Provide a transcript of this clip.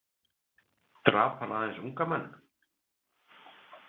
Drap hann aðeins unga menn?